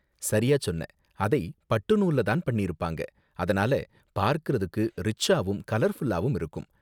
சரியா சொன்ன, அதை பட்டு நூல்ல தான் பண்ணிருப்பாங்க, அதனால பார்க்குறதுக்கு ரிச்சாவும் கலர்ஃபுல்லாவும் இருக்கும்.